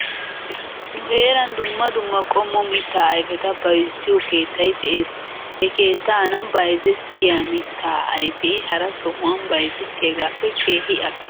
Nu heeran dumma dumma qommo mittaa ayfeta bayzziyoo keettay de'es. He keettana bayzettiyaa mittaa ayfee hara sohuwan bayzettiyaagaappe keehi al'o.